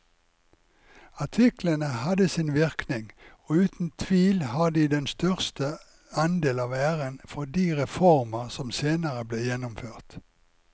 Artiklene hadde sin virkning og uten tvil har de den største andel av æren for de reformer som senere ble gjennomført.